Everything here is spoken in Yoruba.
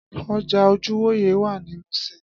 Ọjà ojúwòyẹ̀ wà ní Muṣin